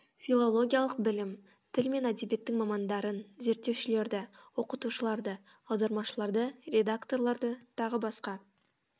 филологиялық білім тіл мен әдебиеттің мамандарын зерттеушілерді оқытушыларды аудармашыларды редакторларды т б